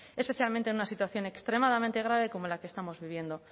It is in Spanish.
especialmente en una situación extremadamente grave como la que estamos viviendo